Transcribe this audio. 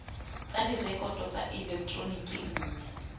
tsa direkoto tsa eleketeroniki mme